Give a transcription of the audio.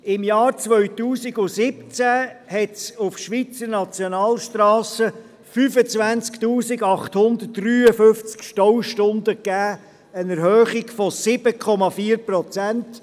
Im Jahr 2017 gab es auf Schweizer Nationalstrassen 25 853 Staustunden, eine Erhöhung um 7,4 Prozent.